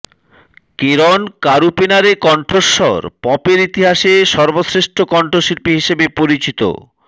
কেরন কারুপেনারের কণ্ঠস্বর পপের ইতিহাসে সর্বশ্রেষ্ঠ কণ্ঠশিল্পী হিসেবে পরিচিত